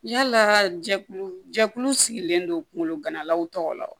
Yalaa jɛkulu jɛkulu sigilen don kungolo ganalaw tɔgɔ la wa